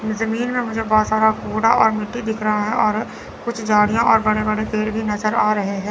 जमीन में मुझे बहोत सारा कूड़ा और मिट्टी दिख रहा है और कुछ झाड़ियां और बड़े बड़े पेड़ भी नजर आ रहे हैं।